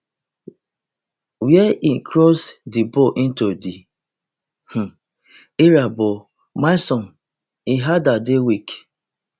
wia he cross di ball into di um area but milson im header dey weak